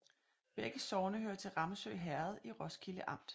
Begge sogne hørte til Ramsø Herred i Roskilde Amt